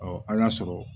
a y'a sɔrɔ